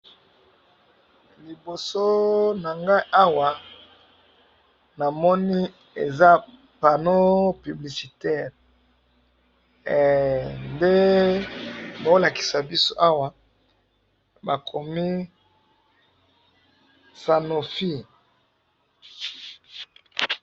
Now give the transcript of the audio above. Liboso na nga awa ,namoni eza panneau publicitaire nde bazo lakisa biso awa bakomi sanofi